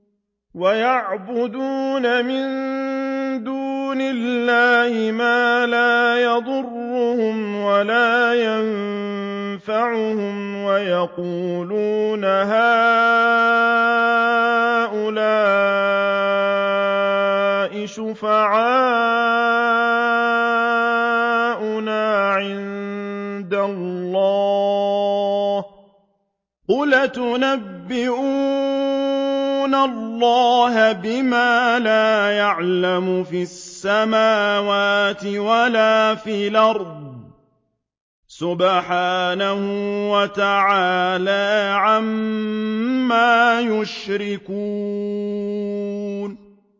وَيَعْبُدُونَ مِن دُونِ اللَّهِ مَا لَا يَضُرُّهُمْ وَلَا يَنفَعُهُمْ وَيَقُولُونَ هَٰؤُلَاءِ شُفَعَاؤُنَا عِندَ اللَّهِ ۚ قُلْ أَتُنَبِّئُونَ اللَّهَ بِمَا لَا يَعْلَمُ فِي السَّمَاوَاتِ وَلَا فِي الْأَرْضِ ۚ سُبْحَانَهُ وَتَعَالَىٰ عَمَّا يُشْرِكُونَ